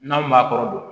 N'anw m'a kɔrɔ don